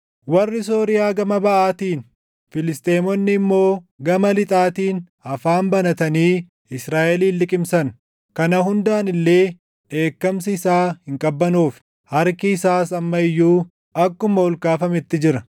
Warri Sooriyaa gama baʼaatiin, // Filisxeemonni immoo gama lixaatiin afaan banatanii Israaʼelin liqimsan. Kana hundaan illee dheekkamsi isaa hin qabbanoofne; harki isaas amma iyyuu akkuma ol kaafametti jira.